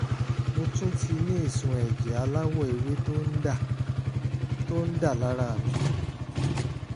mo tún ti ní ìsun ẹ̀jẹ̀ aláwọ̀ ewé tó ń dà tó ń dà lára mi